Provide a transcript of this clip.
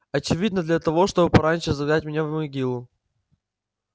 очевидно для того чтобы пораньше загнать меня в могилу